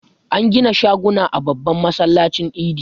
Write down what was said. An gida shaguna a babban masallacin Idi.